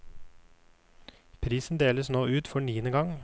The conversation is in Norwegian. Prisen deles nå ut for niende gang.